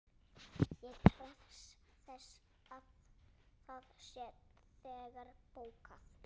Ég krefst þess að það sé þegar bókað.